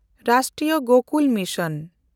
ᱨᱟᱥᱴᱨᱤᱭᱚ Gokul mission